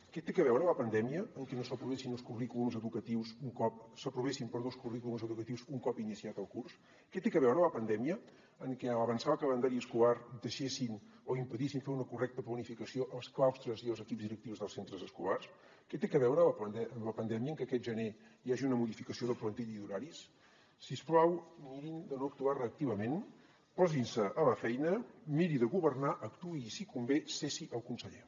que té a veure la pandèmia amb que s’aprovessin els currículums educatius un cop iniciat el curs què té a veure la pandèmia amb que a l’avançar el calendari escolar deixessin o impedissin fer una correcta planificació als claustres i als equips directius dels centres escolars què té a veure amb la pandèmia que aquest gener hi hagi una modificació de plantilla i d’horaris si us plau mirin de no actuar reactivament posin se a la feina miri de governar actuï i si convé cessi el conseller